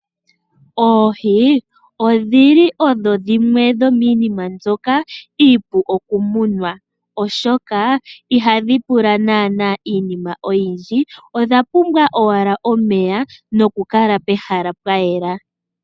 Oohi odhi li odho shimwe dhomiinima mbyoka iipu okumunwa, oshoka iha dhi pula naana iinima oyindji, odha pumbwa owala omeya nokukala pehala pwayela.